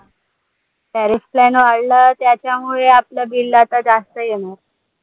tariff plan वाढलाय त्याच्यामुळे आपलं bill आता जास्त येणार